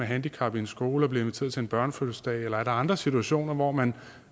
handicap i en skole og bliver inviteret til en børnefødselsdag eller alle andre situationer hvor man